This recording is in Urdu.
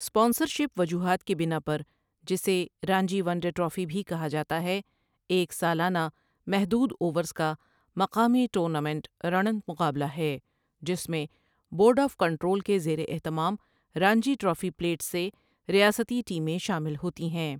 اسپانسرشپ وجوہات کی بناء پر جسے رانجی ون ڈے ٹرافی بھی کہا جاتا ہے، ایک سالانہ محدود اوورز کا مقامی ٹونامنٹ ڑںٓںت مقابلہ ہے جس میں بورڈ آف کنٹرول کے زیر اہتمام رانجی ٹرافی پلیٹس سے ریاستی ٹیمیں شامل ہوتی ہیں ۔